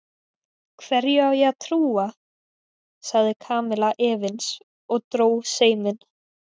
Hverju á ég að trúa? sagði Kamilla efins og dró seiminn.